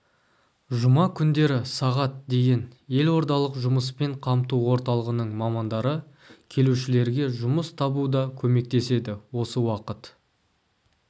жұма күндері сағат дейін елордалық жұмыспен қамту орталығының мамандары келушілерге жұмыс табуда көмектеседі осы уақыт